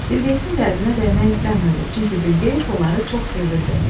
Bilqeyisin qəlbinə dəymək istəmirdi, çünki Bilqeyis onları çox sevirdi.